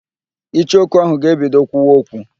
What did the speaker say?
Icheoku ahụ ga-ebido kwuwa okwu